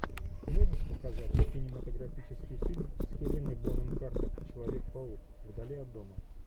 можешь показать кинематографический фильм с хеленой бонем картер человек паук вдали от дома